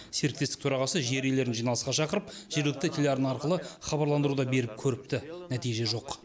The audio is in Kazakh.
серіктестік төрағасы жер иелерін жиналысқа шақырып жергілікті телеарна арқылы хабарландыру да беріп көріпті нәтиже жоқ